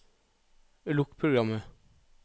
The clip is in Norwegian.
lukk programmet